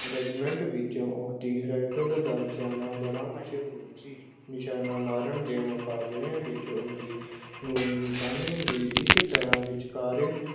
regiment ਵਿੱਚ ਉਸਦੀ rifle ਦਾ ਨਿਸ਼ਾਨਾ ਬੜਾ ਮਸ਼ਹੂਰ ਸੀ, ਨਿਸ਼ਾਨੇ ਮਾਰਨ ਦੇ ਮੁਕਾਬਲਿਆਂ ਵਿੱਚੋਂ ਉਸਦੀ ਗੋਲੀ ਨਿਸ਼ਾਨਿਆਂ ਦੇ ਇਸ ਤਰ੍ਹਾਂ ਵਿਚਕਾਰ